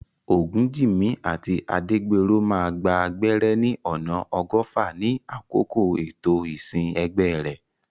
Ogunjimi àti Adegbenro máa gba gbẹ́rẹ́ ní ọ̀nà ọgọ́fà ní àkókò ètò ìsìn ẹgbẹ́ rẹ̀.